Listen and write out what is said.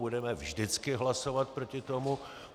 Budeme vždycky hlasovat proti tomu.